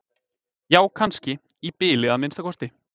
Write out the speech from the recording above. Já kannski, í bili að minnsta kosti.